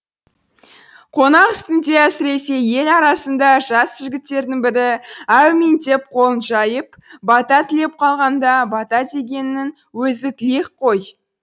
қонақ үстінде әсіресе ел арасында жас жігіттердің бірі әумин деп қолын жайып бата тілеп қалғанда бата дегеннің өзі тілек қой